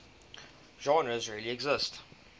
genres really exist